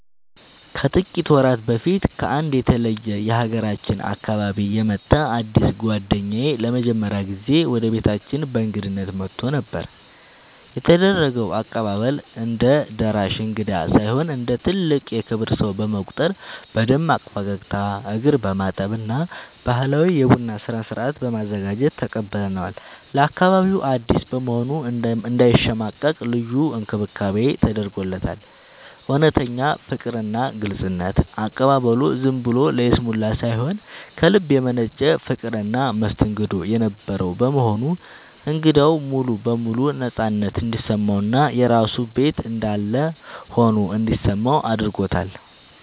ከጥቂት ወራት በፊት ከአንድ የተለየ የሀገራችን አካባቢ የመጣ አዲስ ጓደኛዬ ለመጀመሪያ ጊዜ ወደ ቤታችን በእንግድነት መጥቶ ነበር። የተደረገው አቀባበል፦ እንደ ደራሽ እንግዳ ሳይሆን እንደ ትልቅ የክብር ሰው በመቁጠር በደማቅ ፈገግታ፣ እግር በማጠብ እና ባህላዊ የቡና ስነ-ስርዓት በማዘጋጀት ተቀብለነዋል። ለአካባቢው አዲስ በመሆኑ እንዳይሸማቀቅ ልዩ እንክብካቤ ተደርጎለታል። እውነተኛ ፍቅርና ግልጽነት፦ አቀባበሉ ዝም ብሎ ለይስሙላ ሳይሆን ከልብ የመነጨ ፍቅርና መስተንግዶ የነበረው በመሆኑ እንግዳው ሙሉ በሙሉ ነፃነት እንዲሰማውና የራሱ ቤት እንዳለ ሆኖ እንዲሰማው አድርጎታል።